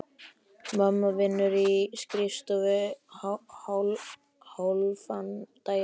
Mamma vinnur á skrifstofu hálfan daginn.